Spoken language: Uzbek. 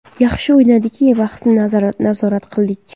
Yaxshi o‘ynadik va bahsni nazorat qildik.